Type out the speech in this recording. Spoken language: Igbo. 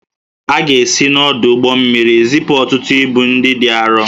A ga-esi n'ọdụ ụgbọ mmiri zipụ ọtụtụ ibu ndị dị arọ